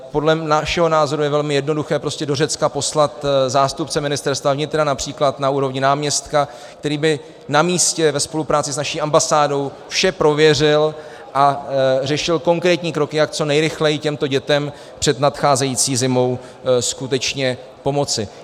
Podle našeho názoru je velmi jednoduché prostě do Řecka poslat zástupce Ministerstva vnitra, například na úrovni náměstka, který by na místě ve spolupráci s naší ambasádou vše prověřil a řešil konkrétní kroky, jak co nejrychleji těmto dětem před nadcházející zimou skutečně pomoci.